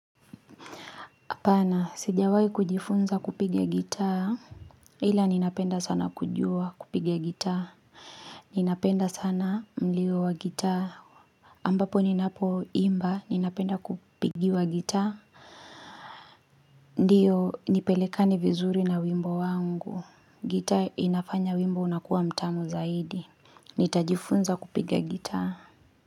hApana, sijawai kujifunza kupiga gitaa, ila ninapenda sana kujua kupiga gitaa, ninapenda sana mlio wa gitaa, ambapo ninapo imba ninapenda kupigiwa gitaa, ndiyo nipelekane vizuri na wimbo wangu, gitaa inafanya wimbo unakuwa mtamu zaidi, nitajifunza kupiga gitaa.